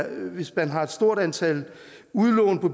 at hvis man har et stort antal udlån på